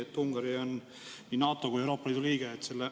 Tõsi, Ungari on nii NATO kui ka Euroopa Liidu liige.